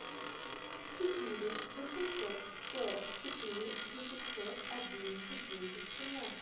четыре восемьсот сорок четыре девятьсот одиннадцать десять семнадцать